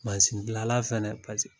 gilala fɛnɛ